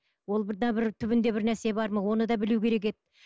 бір түбінде бір нәрсе бар ма оны да білу керек еді